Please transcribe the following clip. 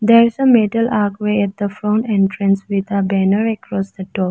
There is a metal arc way at the front entrance with a banner across the door.